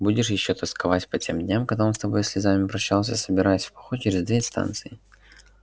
будешь ещё тосковать по тем дням когда он с тобой со слезами прощался собираясь в поход через две станции